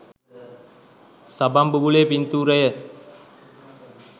සබන් බුබුලේ පින්තූරය.